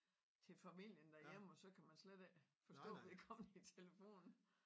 Til familien derhjemme og så kan man slet ikke forstå vedkommende i telefonen